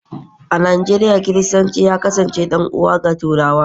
a Nijeriya, Kiristanci ya kasance ɗan’uwa ga Turawa